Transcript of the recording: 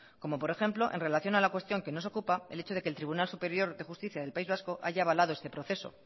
como por ejemplo en relación a la cuestión que nos ocupa el hecho de que el tribunal superior de justicia del país vasco haya avalado este proceso